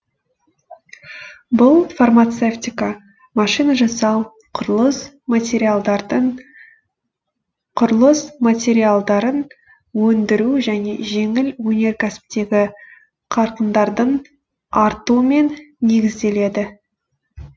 бұл фармацевтика машина жасау құрылыс материалдарын өндіру және жеңіл өнеркәсіптегі қарқындардың артуымен негізделеді